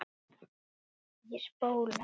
Ég spóla.